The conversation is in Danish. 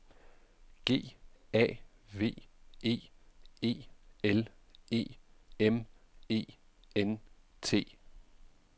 G A V E E L E M E N T